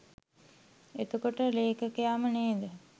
එතකොට ලේඛකයාම නේද